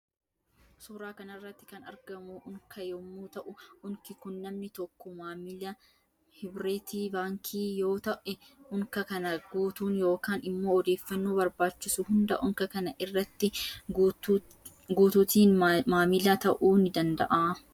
Suuraa kanarratti kan argamu unka yommuu ta'u unki Kun namni tokko maamila hibreti baankii yoo ta'e unka kana guutuun yookaan immoo odeeffannoo barbaachisu hunda unka kana irratti guutuutiin maalila ta'uu ni danda'a.